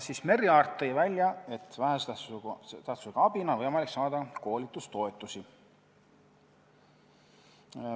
Merry Aart tõi välja, et vähese tähtsusega abina on võimalik saada koolitustoetusi.